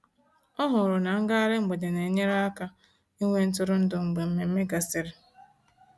Ọ hụrụ na ngaghari mgbede na-enyere ya aka ịnwe ntụrụndụ mgbe mmemme gasịrị.